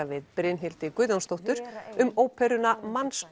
við Brynhildi Guðjónsdóttur um óperuna